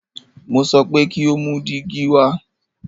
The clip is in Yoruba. Mo so pé kí o mú dígí wa!